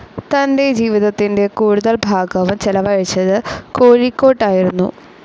തന്റെ ജീവിതത്തിന്റെ കൂടുതൽ ഭാഗവും ചെലവഴിച്ചത് കോഴിക്കോട്ടായിരുന്നു.